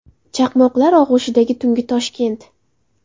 Chaqmoqlar og‘ushidagi tungi Toshkent.